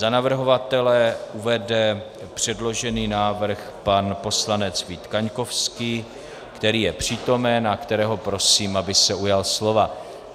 Za navrhovatele uvede předložený návrh pan poslanec Vít Kaňkovský, který je přítomen a kterého prosím, aby se ujal slova.